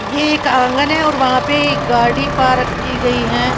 ये एक आंगन है और वहां पे गाड़ी पार्क की गई है।